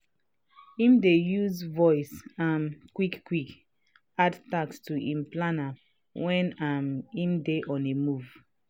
him dey use voice um quick quick add task to him planner wen um him dey on a move.